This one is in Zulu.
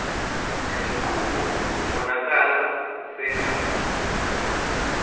lenqubo ibonakala sengathi